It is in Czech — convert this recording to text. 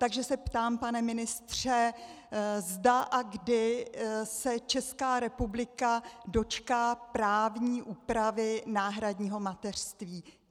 Takže se ptám, pane ministře, zda a kdy se Česká republika dočká právní úpravy náhradního mateřství.